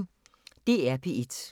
DR P1